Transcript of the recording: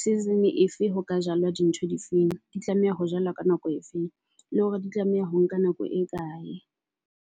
season efe ho ka jalwa di ntho di feng di tlameha ho jalwa ka nako e feng, le hore di tlameha ho nka nako e kae.